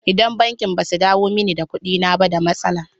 Idan bankin ba su dawo mani da kuɗina ba da matsala.